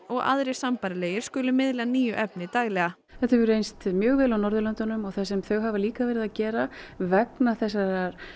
og aðrir sambærilegir skulu miðla nýju efni daglega þetta hefur reynst mjög vel á Norðurlöndunum og það sem þau hafa líka verið að gera vegna þessara